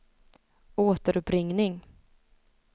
återuppringning